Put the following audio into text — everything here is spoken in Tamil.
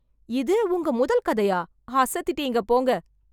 இது உங்க முதல் கதையா, அசத்திட்டிங்கப் போங்க.